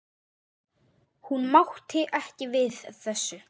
Hún mátti ekki við þessu.